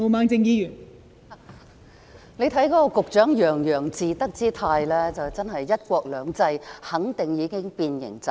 大家看到局長洋洋自得之態，肯定"一國兩制"已經變形走樣。